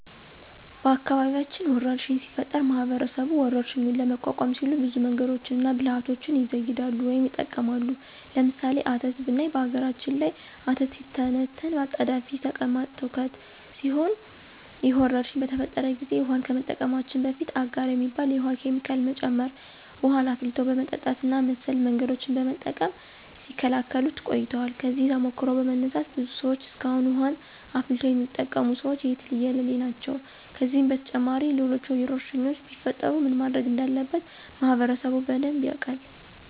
በአካባቢያችን ወረርሽኝ ሲፈጠር ማህበረሰቡ ወረርሽኙን ለመቋቋም ሲሉ ብዙ መንገዶችንና ብልሀቶችን ይዘይዳሉ ወይም ይጠቀማሉ። ለምሳሌ፦ አተት ብናይ በነገራችን ላይ አተት ሲተነተን አጣዳፊ ተቅማጥ ትውከት ሲሆን ይህ ወረርሽኝ በተፈጠረ ጊዜ ውሀን ከመጠቀማችን በፊት አጋር የሚባል የውሀ ኬሚካል መጨመር፣ ውሀን አፍልቶ በመጠጣት እና መሰል መንገዶችን በመጠቀም ሲከላከሉት ቆይተዋል። ከዚህ ተሞክሮ በመነሳት ብዙ ሰዎች እስካሁን ውሀን አፍልቶ የሚጠቀሙት ሰዎች የትየለሌ ናቸው። ከዚህም በተጨማሪ ሌሎች ወረርሽኞች ቢፈጠሩ ምን ማድረግ እንዳለበት ማህበረሰቡ በደንብ ያውቃል።